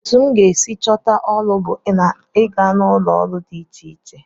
Etu m ga-esi chọta ọrụ bụ ịga n'ụlọọrụ dị iche iche